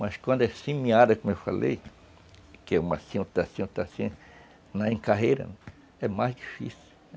Mas quando é semeada, como eu falei, que é uma assim, outra assim, outra assim, na encarreira, é mais difícil.